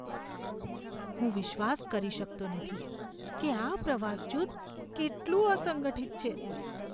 હું વિશ્વાસ કરી શકતો નથી કે આ પ્રવાસ જૂથ કેટલું અસંગઠિત છે.